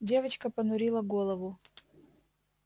девочка понурила голову